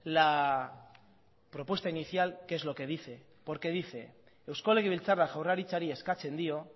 la propuesta inicial qué es lo que dice porque dice eusko legebiltzarra jaurlaritzari eskatzen dio